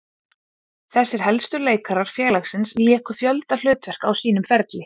Þessir helstu leikarar félagsins léku fjölda hlutverka á sínum ferli.